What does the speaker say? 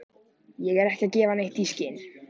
Ég er ekki að gefa neitt í skyn.